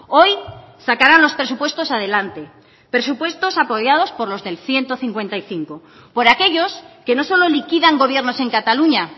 hoy sacarán los presupuestos adelante presupuestos apoyados por los del ciento cincuenta y cinco por aquellos que no solo liquidan gobiernos en cataluña